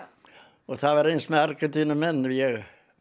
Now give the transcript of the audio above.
og það var eins með Argentínumenn ég